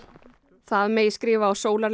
það megi skrifa á